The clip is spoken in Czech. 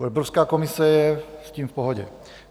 Evropská komise je s tím v pohodě.